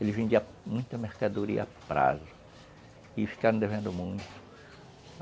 Ele vendia muita mercadoria a prazo e ficaram devendo muito.